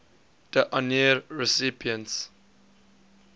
d honneur recipients